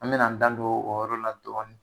An be na an da don olu yɔrɔ la dɔɔni.